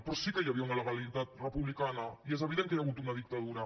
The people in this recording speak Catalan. però sí que hi havia una legalitat republicana i és evident que hi ha hagut una dictadura